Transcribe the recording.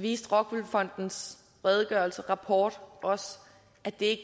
viste rockwool fondens rapport også at det